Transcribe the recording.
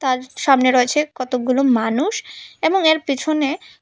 তার সামনে রয়েছে কতগুলো মানুষ এবং এর পিছনে --